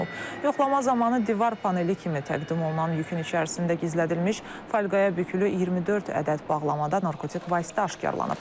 Yoxlama zamanı divar paneli kimi təqdim olunan yükün içərisində gizlədilmiş folqaya bükülü 24 ədəd bağlamada narkotik vasitə aşkarlanıb.